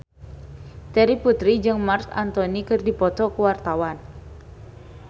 Terry Putri jeung Marc Anthony keur dipoto ku wartawan